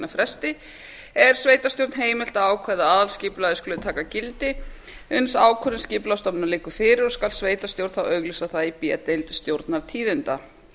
fresti er sveitarstjórn heimilt að ákveða að aðalskipulagið skuli taka gildi uns ákvörðun skipulagsstofnunar liggur fyrir og skal sveitarstjórn þá auglýsa það í b deild stjórnartíðinda